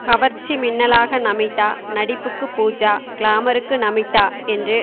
கவர்ச்சி மின்னலாக நமிதா நடிப்புக்கு பூஜா கிளாமருக்கு நமிதா என்று